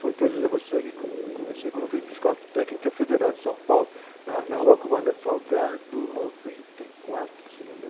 Foi, então, eu dizia a você que eu co, comecei quando eu fui para a Escola Técnica Federal de São Paulo, na na, se me lembro.